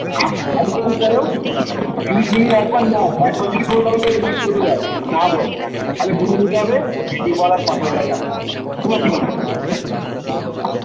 যদি শুনি একবার না একবার যদি কোনো কারণ এ না বলে তাহলে বুঝে নিতে হবে তোমার কি মনে হয়